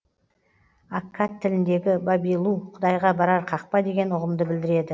аккад тіліндегі бабилу құдайға барар қақпа деген ұғымды білдіреді